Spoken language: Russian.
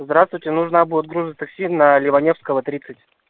здравствуйте нужна будет грузотакси на леваневского тридцать